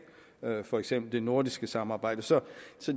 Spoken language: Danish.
for eksempel det nordiske samarbejde så